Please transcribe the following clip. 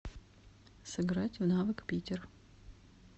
сыграть в навык питер